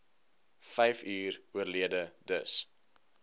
vyfuur oorlede dis